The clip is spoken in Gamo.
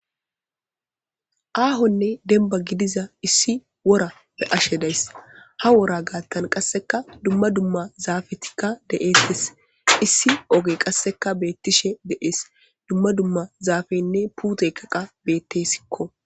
Aahonne denba gidiza issi wora be'ashe days. Ha wora gaattan qasseka dumma dumma zaafetikka de'eettes. Issi oge qasseka beettishe de'ees .Dumma dumma zaafeynne puute daga beettesikko.